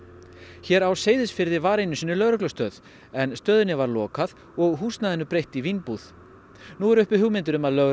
hér á Seyðisfirði var einu sinni lögreglustöð en stöðinni var lokað og húsnæðinu breytt í vínbúð nú eru uppi hugmyndir um að lögregla